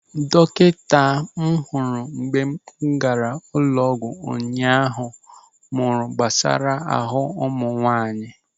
Dọkịta m hụrụ mgbe m gaara ụlọ ọgwụ ụnyaahụ mụrụ gbasara ahụ ụmụ nwaanyị.